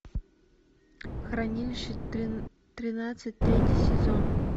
хранилище тринадцать третий сезон